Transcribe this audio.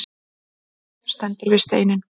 Stendur við steininn.